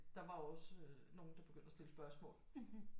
Der var også øh nogen der begyndte at stille spørgsmål